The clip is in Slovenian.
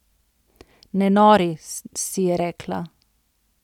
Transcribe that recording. Ne nori, si je rekla.